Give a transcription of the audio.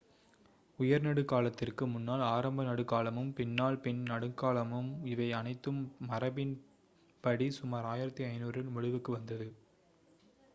உயர் நடுக் காலத்திற்கு முன்னால் ஆரம்ப நடுக் காலமும் பின்னால் பின் நடுக்காலமும் இவை அனைத்தும் மரபின் படி சுமார் 1500ல் முடிவுக்கு வந்தது